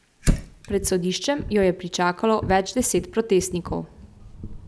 Pred sodiščem jo je pričakalo več deset protestnikov.